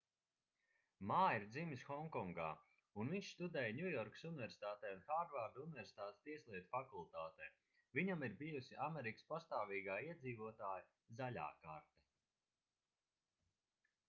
mā ir dzimis honkongā un viņš studēja ņujorkas universitātē un hārvarda universitātes tieslietu fakultātē viņam ir bijusi amerikas pastāvīgā iedzīvotāja zaļā karte